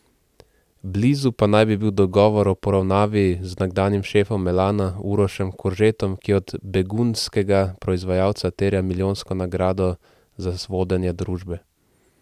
Blizu pa naj bi bil dogovor o poravnavi z nekdanjim šefom Elana Urošem Koržetom, ki od begunjskega proizvajalca terja milijonsko nagrado za vodenje družbe.